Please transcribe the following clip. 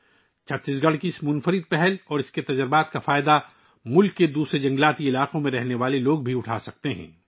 ملک کے دیگر جنگلاتی علاقوں میں رہنے والے لوگ بھی چھتیس گڑھ کی اس انوکھی پہل اور اس کے تجربات سے فائدہ اٹھا سکتے ہیں